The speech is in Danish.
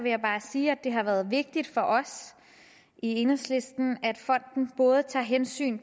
jeg bare sige at det har været vigtigt for os i enhedslisten at fonden tager hensyn